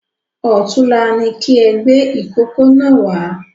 Ọ̀túnla ní kí ẹ gbé ìkókó náà wá